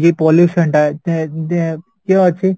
ଇଏ pollution ତା ଏଁ ଇଏ ଅଛି